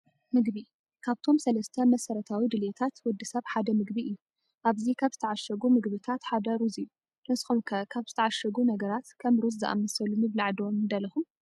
ምግቢ፡- ካብቶም ሰለስተ መሰረታዊ ድልየታት ወዲ ሰብ ሓደ ምግቢ እዩ፡፡ ኣብዚ ካብ ዝተዓሸጉ ምግብታት ሓደ ሩዝ እዩ፡፡ ንስኹም ከ ካብ ዝተዓሸጉ ነገራት ከም ሩዝ ዝኣመሰሉ ምብላዕ ዶ ንደለኹም?